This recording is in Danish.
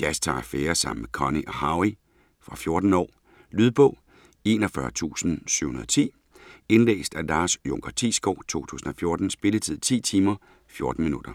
Jazz tager affære sammen med Connie og Howie. Fra 14 år. Lydbog 41710 Indlæst af Lars Junker Thiesgaard, 2014. Spilletid: 10 timer, 14 minutter.